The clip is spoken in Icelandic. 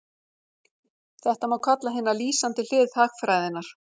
Þetta má kalla hina lýsandi hlið hagfræðinnar.